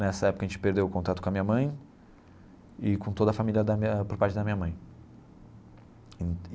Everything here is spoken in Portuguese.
Nessa época, a gente perdeu o contato com a minha mãe e com toda a família da minha por parte da minha mãe.